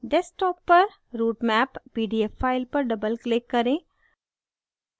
desktop पर routemap pdf file पर doubleclick करें